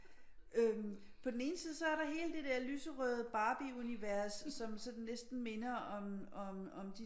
Øh på den ene side så er der hele det der lyserøde barbieunivers som næsten minder om om